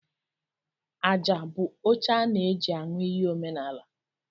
Aja bụ oche a na eji aṅụ iyi omenala.